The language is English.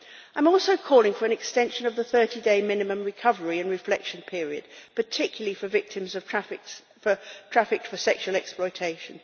I'm also calling for an extension of the 30-day minimum recovery and reflection period, particularly for victims of trafficking for sexual exploitation.